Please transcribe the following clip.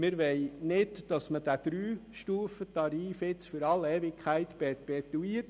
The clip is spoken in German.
Wir wollen nicht, dass man diesen Dreistufentarif für alle Zeiten perpetuiert.